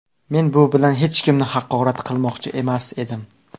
Men bu bilan hech kimni haqorat qilmoqchi emas edim.